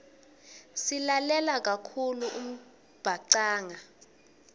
silalela kakhulu umbhacanga